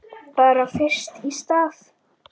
Bara fyrst í stað.